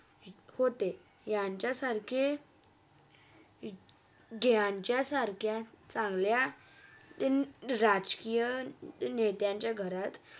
होते यांच्यासारखे ज्यांच्या सारख्या चांगल्या राजकिया नेत्यांच्या घरात होते